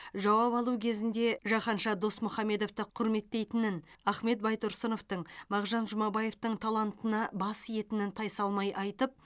жауап алу кезінде жаһанша досмұхамедовты құрметтейтінін ахмет байтұрсыновтың мағжан жұмабаевтың талантына бас иетінін тайсалмай айтып